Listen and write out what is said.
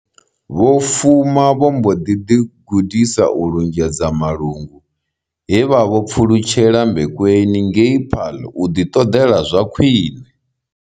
Vho Fuma vho mbo ḓi ḓigudisa u lunzhedza malungu, he vha vho pfulutshela Mbekweni ngei Paarl u ḓiṱoḓela zwa khwine.